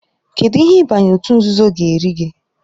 Kedụ ihe ịbanye òtù nzuzo ga-eri gị?